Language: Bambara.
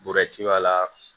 b'a la